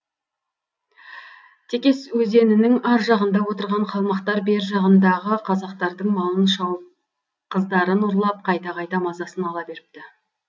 текес өзенінің ар жағында отырған қалмақтар бер жағындағы қазақтардың малын шауып қыздарын ұрлап қайта қайта мазасын ала беріпті